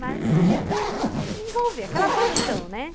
Mas, tipo, me envolver, aquela paixão, né?